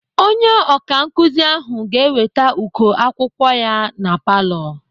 Onye ọkankụzi ahụ ga-eweta uko akwụkwọ ya na palọ.